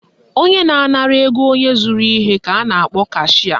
Onye na-anara ego onye zụrụ ihe ka a na-akpọ cashịa